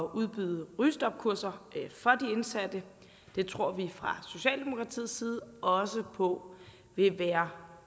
udbyde rygestopkurser for de indsatte det tror vi fra socialdemokratiets side også på vil være